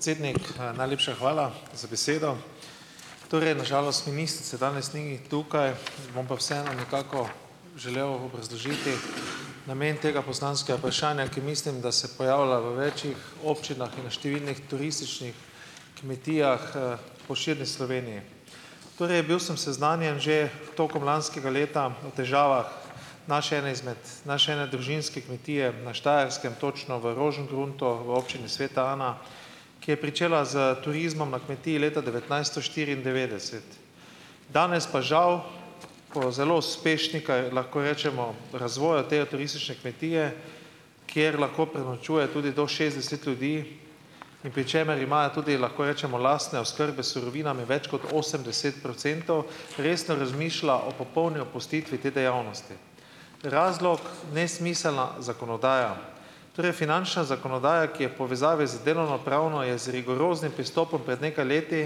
Cednik, najlepša hvala za besedo. Torej, na žalost ministrice danes ni tukaj, bom pa vseeno nekako želel obrazložiti namen tega poslanskega vprašanja, ki mislim, da se pojavlja v več občinah in številnih turističnih kmetijah po širni Sloveniji. Torej, bil sem seznanjen že tokom lanskega leta o težavah naše ene izmed naše ene družinske kmetije na Štajerskem, točno v Rožengruntu v občini Sveta Ana, ki je pričela s turizmom na kmetiji leta devetnajsto štiriindevetdeset. Danes pa žal po zelo uspešni lahko rečemo, razvoju te turistične kmetije, kjer lahko prenočuje tudi do šestdeset ljudi, in pri čemer imajo tudi, lahko rečemo, lastne oskrbe s surovinami več kot osemdeset procentov, resno razmišlja o popolni opustitvi te dejavnosti. Razlog: nesmiselna zakonodaja. Torej, finančna zakonodaja, ki je povezavi z delovno pravno, je z rigoroznim pristopom pred nekaj leti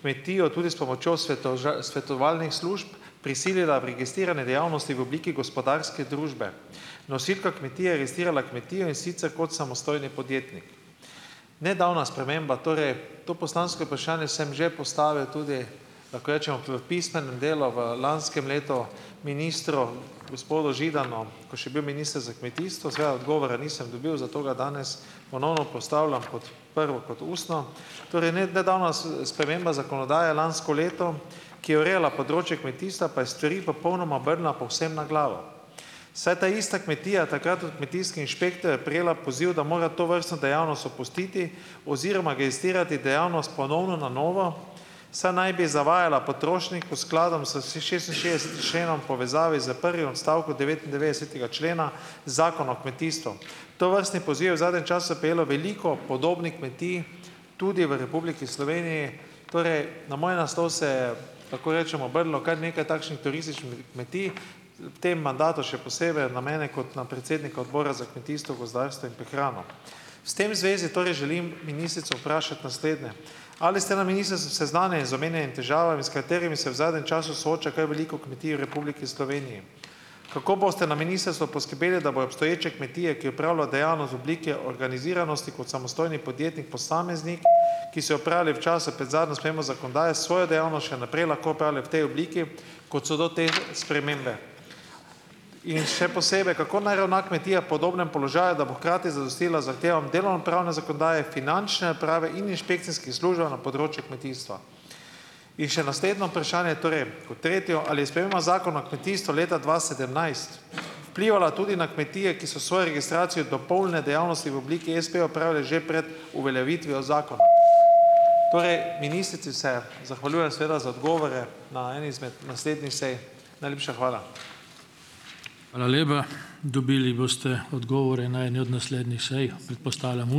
kmetijo tudi s pomočjo svetovalnih služb prisilila v registrirane dejavnosti v obliki gospodarske družbe. Nosilka kmetije registrirala kmetijo, in sicer kot samostojni podjetnik. Nedavna sprememba torej. To poslansko vprašanje sem že postavil tudi, lahko rečemo, pri pismenem delu v lanskem letu, ministru gospodu Židanu, ko je še bil minister za kmetijstvo. Seveda odgovora nisem dobil, zato ga danes ponovno postavljam pod prvo kot ustno. Torej, ne nedavna sprememba zakonodaje lansko leto, ki je urejala področje kmetijstva, pa je stvari popolnoma obrnila povsem na glavo, saj je ta ista kmetija takrat od kmetijskega inšpektorja prejela poziv, da mora tovrstno dejavnost opustiti oziroma registrirati dejavnost ponovno na novo, saj naj bi zavajala potrošnike v skladom s šestinšestdeseti členom v povezavi s prvim odstavkom devetindevetdesetega člena Zakona o kmetijstvu. Tovrstni poziv je v zadnjem času prejelo veliko podobnih kmetij tudi v Republiki Sloveniji, torej, na moj naslov se je, lahko rečemo, obrnilo kar nekaj takšnih turističnih kmetij. V tem mandatu še posebej na mene kot na predsednika Odbora za kmetijstvo, gozdarstvo in prehrano. S tem v zvezi torej želim ministrico vprašati naslednje: Ali ste na ministrstvu seznanjeni z omenjenimi težavami, s katerimi se v zadnjem času sooča kar veliko kmetij v Republiki Sloveniji. Kako boste na ministrstvu poskrbeli, da bojo obstoječe kmetije, ki opravljajo dejavnost v obliki organiziranosti kot samostojni podjetnik, posameznik, ki se ob pravem času, pred zadnjo spremembo zakonodaje, svojo dejavnost še naprej lahko opravljali v tej obliki, kot so do te spremembe? In še posebej. Kako naj ravna kmetija v podobnem položaju, da bo hkrati zadostila zahtevam delovnopravne zakonodaje, finančne uprave in inšpekcijskim službam na področju kmetijstva? In še naslednje vprašanje, torej, kot tretje. Ali je sprememba Zakona o kmetijstvu leta dva sedemnajst vplivala tudi na kmetije, ki so svojo registracijo dopolnjene dejavnosti v obliki espejev opravile že pred uveljavitvijo zakona? Ministrici se zahvaljujem seveda za odgovore ne eni izmed naslednjih sej. Najlepša hvala.